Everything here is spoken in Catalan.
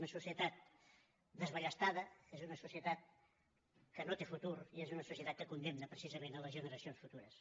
una societat desballestada és una societat que no té futur i és una societat que condemna precisament les generacions futures